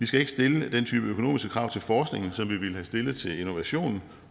skal stille den type økonomiske krav til forskning som vi ville have stillet til innovation